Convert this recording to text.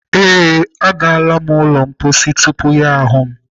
Ee, anọ m na-aga n'ụlọ mposi tupu ya ahụ m..